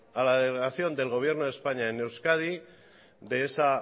a la delegación del gobierno de españa en euskadi de esa